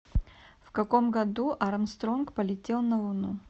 в каком году армстронг полетел на луну